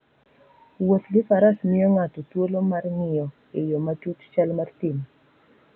Wuoth gi faras miyo ng'ato thuolo mar ng'iyo e yo matut chal mar thim.